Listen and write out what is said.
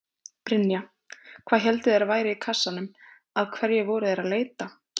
Brynja: Hvað héldu þeir að væri í kassanum, að hverju voru þeir að leita?